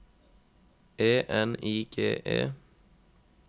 E N I G E